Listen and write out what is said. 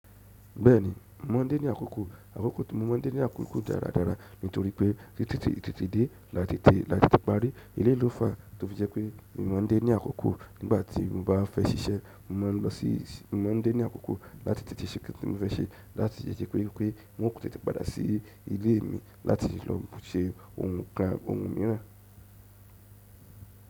Bẹ́ẹ̀ni, mo mọ ń dé ní àkókò. Àkókò tí mo mọ́ ń dé ní àkókò dáradára nítorí pé ìtètèdé látètèparí, eléyìí ló fàa tó fi jẹ́ pé mo máa ń dé ní àkókò nígbà tí mo bá fẹ́ ṣiṣẹ́, mo máa ń lọ sí, mo máa ń dé ní àkókò láti tètè ṣe ǹkan tí mo fẹ́ ṣe, láti lè jẹ́ pé, pé on ò tẹ́tẹ́ padà sí ilé mi láti lọ ṣe ohun kan ohun mìíràn.